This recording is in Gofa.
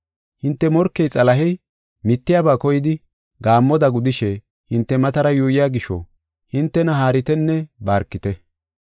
Hinte morkey Xalahey, mittiyaba koyidi, gaammoda gudishe hinte matara yuuyiya gisho hintena haaritenne barkite.